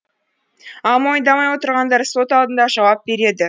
ал мойындамай отырғандар сот алдында жауап береді